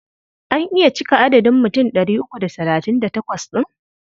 An iya cika adadin mutum ɗari uku da talatin da takwas ɗin?